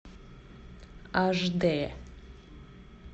аш дэ